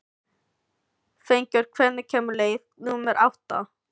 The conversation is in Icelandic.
Fengur, hvenær kemur leið númer átta?